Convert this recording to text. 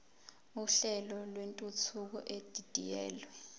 uhlelo lwentuthuko edidiyelwe